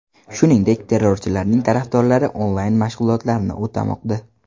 Shuningdek, terrorchilarning tarafdorlari onlayn-mashg‘ulotlarni o‘tamoqda.